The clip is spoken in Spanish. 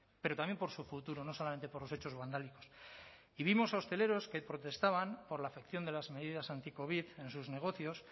pero también por su futuro no solamente por los hechos vandálicos y vimos a hosteleros que protestaban por la afección de las medidas anticovid en sus negocios